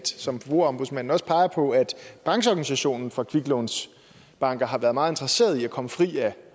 som forbrugerombudsmanden også peger på at brancheorganisationen for kviklånsbanker har været meget interesseret i at komme fri af